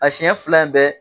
A siɲɛ fila in bɛɛ